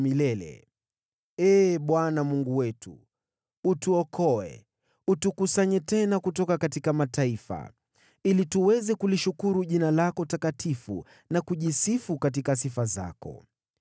Mlilieni, “Ee Mungu Mwokozi wetu, tuokoe. Tukusanye tena na utukomboe kutoka kwa mataifa, ili tuweze kulishukuru jina lako takatifu, na kushangilia katika sifa zako.”